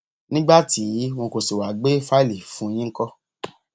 nígbà tí wọn kò sì wáá gbé fáìlì fún un yìí ńkọ